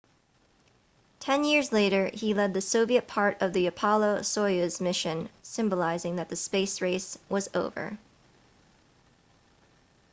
ten years later he led the soviet part of the apollo-soyuz mission symbolizing that the space race was over